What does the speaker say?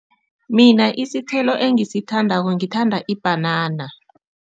Mina isithelo engisithandako ngithanda ibhanana.